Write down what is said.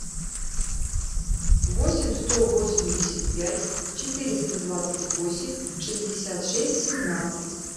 восемь сто восемьдесят пять четыреста двадцать восемь шестьдесят шесть семнадцать